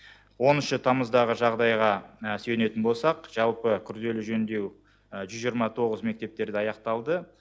оныншы тамыздағы жағдайға сүйенетін болсақ жалпы күрделі жөндеу жүз жиырма тоғыз мектептерде аяқталды